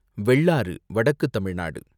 வெள்ளாறு, வடக்கு தமிழ்நாடு